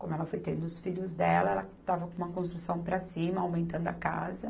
Como ela foi tendo os filhos dela, ela estava com uma construção para cima, aumentando a casa.